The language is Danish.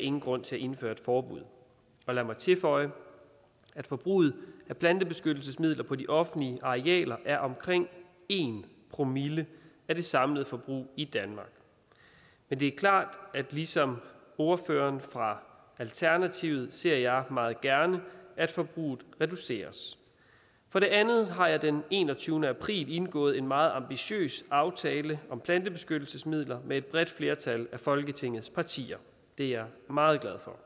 ingen grund til at indføre et forbud lad mig tilføje at forbruget af plantebeskyttelsesmidler på de offentlige arealer er omkring en promille af det samlede forbrug i danmark men det er klart at ligesom ordføreren fra alternativet ser jeg meget gerne at forbruget reduceres for det andet har jeg den enogtyvende april indgået en meget ambitiøs aftale om plantebeskyttelsesmidler med et bredt flertal af folketingets partier det er jeg meget glad for